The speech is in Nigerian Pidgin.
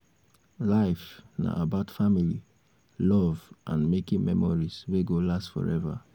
life na about family love and making memories wey go last forever